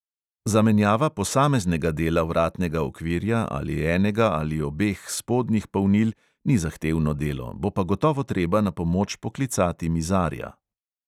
Zamenjava posameznega dela vratnega okvirja ali enega ali obeh spodnjih polnil ni zahtevno delo, bo pa gotovo treba na pomoč poklicati mizarja.